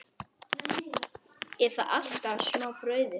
Eða alltaf smá brauði?